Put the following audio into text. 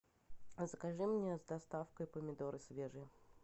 закажи мне с доставкой помидоры свежие